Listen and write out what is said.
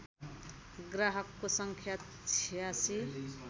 ग्राहकको सङ्ख्या ८६